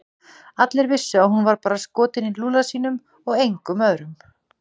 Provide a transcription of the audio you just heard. Allir vissu að hún var bara skotin í Lúlla sínum og engum öðrum.